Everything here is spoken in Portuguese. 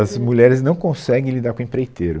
As mulheres não conseguem lidar com empreiteiro.